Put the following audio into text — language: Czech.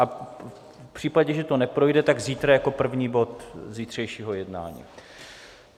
A v případě, že to neprojde, tak zítra jako první bod zítřejšího jednání?